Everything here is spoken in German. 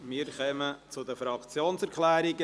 Wir kommen zu den Fraktionserklärungen.